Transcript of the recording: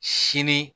Sini